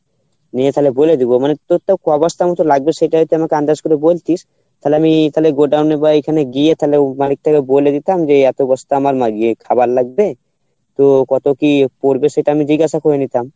নিয়ে তালে বলে দিবো মানে proper ক বস্তার মতো লাগবে সেটা যদি আমাকে আন্দাজ করে বলতিস তালে আমি তালে আমি godown এ বা এখানে গিয়ে তালে মালিক টাকে বলে দিতাম যে এত বস্তা আমার খাবার লাগবে তো কত কী পরবে সেটা আমি জিজ্ঞেসা করে নিতাম